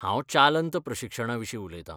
हांव चालंत प्रशिक्षणाविशीं उलयतां.